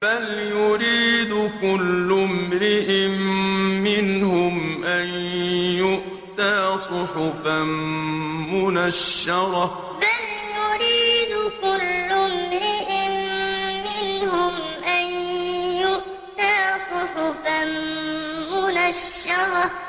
بَلْ يُرِيدُ كُلُّ امْرِئٍ مِّنْهُمْ أَن يُؤْتَىٰ صُحُفًا مُّنَشَّرَةً بَلْ يُرِيدُ كُلُّ امْرِئٍ مِّنْهُمْ أَن يُؤْتَىٰ صُحُفًا مُّنَشَّرَةً